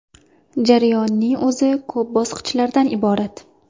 Jarayonning o‘zi ko‘p bosqichlardan iborat.